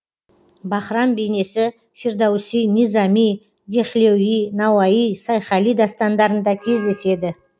баһрам бейнесі фирдоуси низами дехлеуи науаи сайхали дастандарында кездеседі